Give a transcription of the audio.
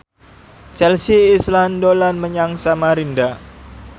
Chelsea Islan dolan menyang Samarinda